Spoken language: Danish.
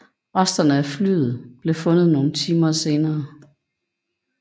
Resterne af flyet blev fundet nogle timer senere